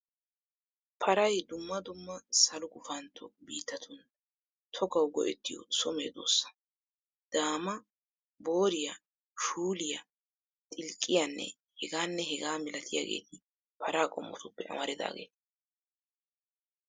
Paray dumma dumma salo gufantto biittatun togawu go'ettiyo so medoosa. Daamaa, booriyaa, shuuliyaa, xilqqiyaanne hegaanne hegaa milatiyaageeti para qommotuppe amaridaageeta.